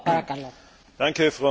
Frau Präsidentin!